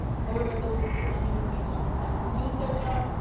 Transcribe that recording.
However, those on minimum wage are most likely to lose their jobs